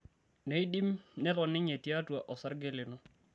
neidim neton ninye tiatua orsarge lino.